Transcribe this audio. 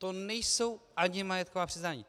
To nejsou ani majetková přiznání.